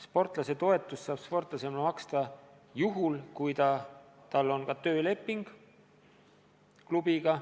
Sportlasetoetust saab sportlasele maksta juhul, kui tal on ka tööleping klubiga.